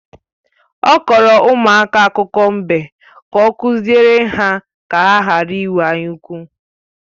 Ọ kọọrọ ụmụaka akụkọ mbe ka ọ kụziere ha ka ha ghara ịnwe anya ukwu